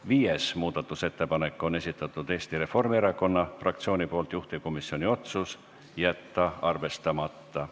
Viienda muudatusettepaneku on esitanud Eesti Reformierakonna fraktsioon, juhtivkomisjoni otsus on jätta arvestamata.